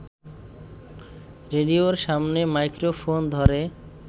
রেডিওর সামনে মাইক্রোফোন ধরে